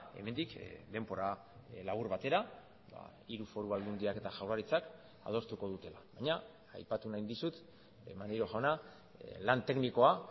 hemendik denbora labur batera hiru foru aldundiak eta jaurlaritzak adostuko dutela baina aipatu nahi dizut maneiro jauna lan teknikoa